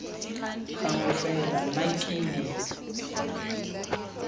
gagwe fela nna ke ne